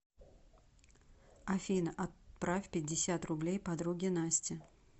афина отправь пятьдесят рублей подруге насте